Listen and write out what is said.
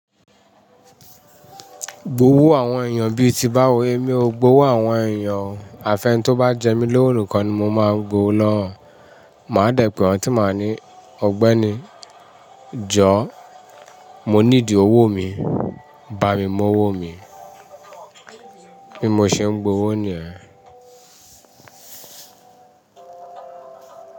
Gbówó àwọn ènìyàn bí i ti bá wo, mi ò gbowó àwọn ènìyàn. Àfẹ́ni tó bá jẹ mí lówo nikan ni mo máa gbo owó lowo e Máa dẹ̀ pẹ̀ won, tí máa ní: "Ọ̀gbẹ́ni, jọ̀ọ́, mo need owó mi, bá mi mu owó mi." Bí mo ṣe ń gbowó ni yẹ́n.